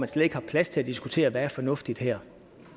slet ikke er plads til at diskutere hvad der er fornuftigt her